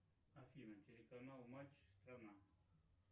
афина телеканал матч страна